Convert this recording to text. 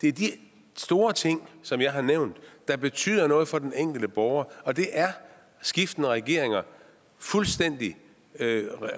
det er de store ting som jeg har nævnt der betyder noget for den enkelte borger og det er skiftende regeringer fuldstændig